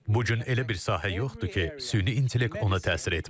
Bu gün elə bir sahə yoxdur ki, süni intellekt ona təsir etməsin.